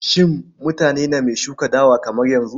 Shin mutane name shuka dawa kamar yanzu?